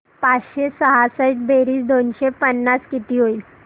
पाचशे सहासष्ट बेरीज दोनशे पन्नास किती होईल